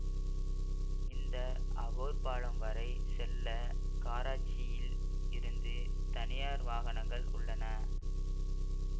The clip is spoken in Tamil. இந்த அகோர் பாலம் வரை செல்ல கராச்சியில் இருந்து தனியார் வாகனங்கள் உள்ளன